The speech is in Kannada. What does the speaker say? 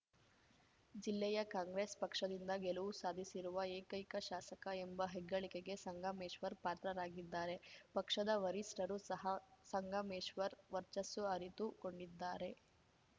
ಜಿಲ್ಲೆಯ ಕಾಂಗ್ರೆಸ್‌ ಪಕ್ಷದಿಂದ ಗೆಲುವು ಸಾಧಿಸಿರುವ ಏಕೈಕ ಶಾಸಕ ಎಂಬ ಹೆಗ್ಗಳಿಕೆಗೆ ಸಂಗಮೇಶ್ವರ್‌ ಪಾತ್ರರಾಗಿದ್ದಾರೆ ಪಕ್ಷದ ವರಿಷ್ಠರು ಸಹ ಸಂಗಮೇಶ್ವರ್‌ ವರ್ಚಸ್ಸು ಅರಿತು ಕೊಂಡಿದ್ದಾರೆ